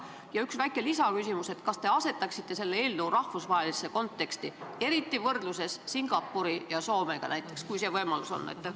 Ja üks väike lisaküsimus ka: kas te asetaksite selle eelnõu rahvusvahelisse konteksti, eriti võrdluses Singapuri ja Soomega näiteks, kui see võimalik on?